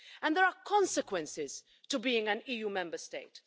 There are consequences to being an EU Member State.